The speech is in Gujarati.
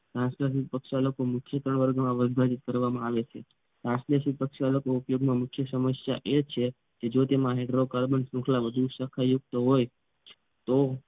તરશલીત પ્રક્ષાલકો મુખ્ય ત્રણ વર્ગમાંમાં વિભાજિત કરવામાં આવે છે તરશલીત પ્રક્ષાલકો મુખ્ય ઉપયોગમાં મુખ્ય સમસ્યા એ છે જો તેમાં હાઇડ્રોકાર્બન શાખલ વધુ શાખા યુક્ત હોય તો